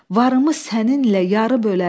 Varımı səninlə yarı bölərəm.